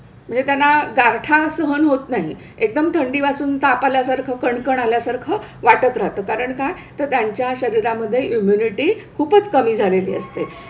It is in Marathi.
म्हणजे त्यांना गारठा सहन होत नाही. एकदम थंडी वाजून ताप आल्यासारखं, कणकण आल्यासारखं वाटत राहतं. कारण काय तर त्यांच्या शरीरामध्ये इम्युनिटी खूपच कमी झालेली असते.